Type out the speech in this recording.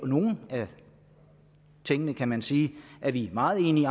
nogle af tingene kan man sige er vi meget enige i